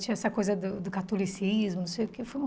Tinha essa coisa do do catolicismo, não sei o quê. Foi uma